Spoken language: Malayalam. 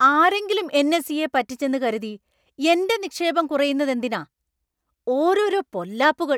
ആരെങ്കിലും എൻ. എസ്. ഇ.യെ പറ്റിച്ചെന്ന് കരുതി എൻ്റെ നിക്ഷേപം കുറയുന്നതെന്തിനാ! ഓരോരോ പൊല്ലാപ്പുകൾ!